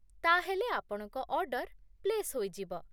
ତା'ହେଲେ ଆପଣଙ୍କ order place ହୋଇଯିବ।